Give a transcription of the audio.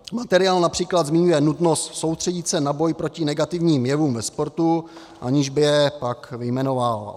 Materiál například zmiňuje nutnost soustředit se na boj proti negativním jevům ve sportu, aniž by je pak vyjmenovával.